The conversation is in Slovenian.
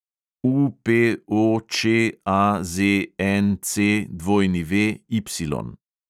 UPOČAZNCWY